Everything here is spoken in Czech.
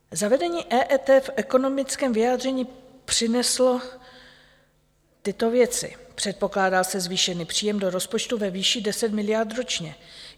Zavedení EET v ekonomickém vyjádření přineslo tyto věci: Předpokládá se zvýšený příjem do rozpočtu ve výši 10 miliard ročně.